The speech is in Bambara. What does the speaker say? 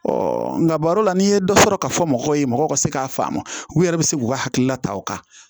nka baro la n'i ye dɔ sɔrɔ ka fɔ mɔgɔw ye mɔgɔw ka se k'a faamu u yɛrɛ bɛ se k'u ka hakilina ta o kan